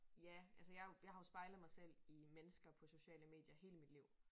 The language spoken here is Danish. Ja altså jeg jo jeg har jo spejlet mig selv i mennesker på sociale medier hele mit liv